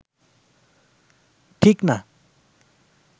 ঠিক না